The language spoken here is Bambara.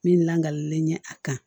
Min langali ɲɛ a kan